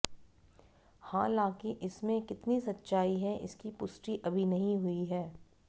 हालांकि इसमें कितनी सच्चाई है इसकी पुष्टि अभी नहीं हुई है